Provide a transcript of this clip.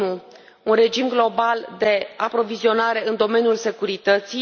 1. un regim global de aprovizionare în domeniul securității